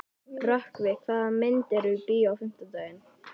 Rökkvi, hvaða myndir eru í bíó á fimmtudaginn?